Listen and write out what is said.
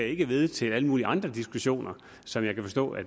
ikke ved til alle mulige andre diskussioner som jeg kan forstå